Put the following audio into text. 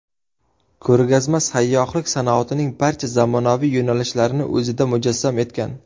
Ko‘rgazma sayyohlik sanoatining barcha zamonaviy yo‘nalishlarini o‘zida mujassam etgan.